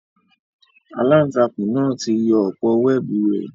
Àlàntakùn náa ti yọ òpó wẹẹbu rẹ